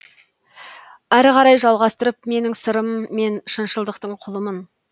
арғарай жалғастырып менің сырым мен шыншылдықтың құлымын